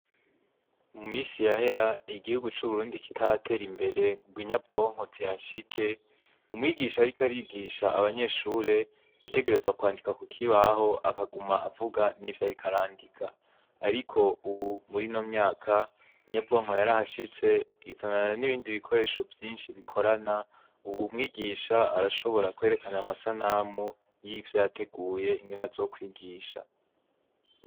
Mu misi yahera igihugu c'uburundi kitaratera imbere ngo inyabwonkozi hashike, umwigisha ariko arigisha abanyeshure yategerezwa kwandika ku kibaho akaguma avuga n'ivyo rikarandika, ariko, ubu muri no myaka nyabwonko yariahashitse izanana n'ibindi bikoresho vyinshi bikorana, ubu mwigisha arashobora kwerekana amasanamu y'ivyo yateguye ingene zokwigisha.